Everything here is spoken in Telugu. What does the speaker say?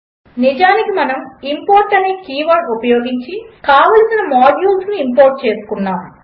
నిజానికి మనము ఇంపోర్ట్ అనే కీవర్డ్ ఉపయోగించి కావలసిన మాడ్యూల్స్ ఇంపోర్ట్ చేసుకున్నాము